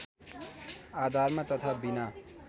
आधारमा तथा बिना